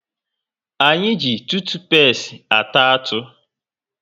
Anyị ji tutupesti ata atụ